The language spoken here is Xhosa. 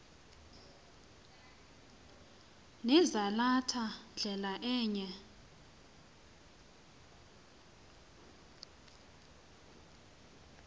nezalatha ndlela eya